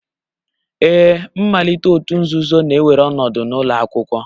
Ee, mmalite òtù nzuzo na-ewere ọnọdụ n'ụlọ akwụkwọ